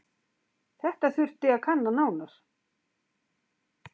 Þetta þurfi að kanna nánar.